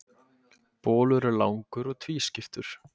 bolur er langur og tvískiptur